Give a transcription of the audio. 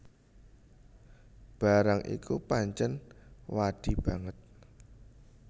Barang iku pancèn wadi banget